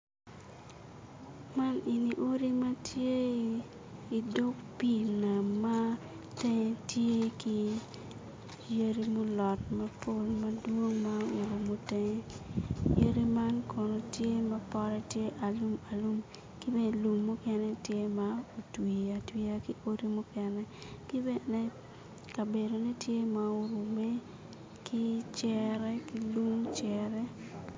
Man eni odi ma tye i dog pii nam ma tenge tye ki yadi mulot mapol madwong ma orumo tenge yadi man kono tye ma potte tye alum alum ki bene lum mukene tye ma otwi atwiya ki odi mukene ki bene kabedone tye ma orume ki cere ki lung cere